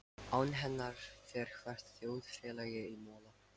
Án hennar fer hvert þjóðfélag í mola.